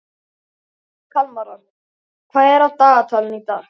Kalmara, hvað er á dagatalinu í dag?